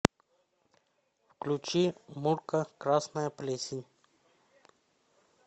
включи мурка красная плесень